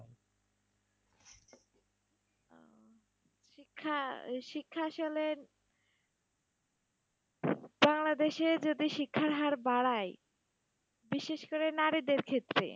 শিক্ষা আসলে বাংলাদেশে যদি শিক্ষার হার বাড়ায়, বিশেষ করে নারীদের ক্ষেত্রে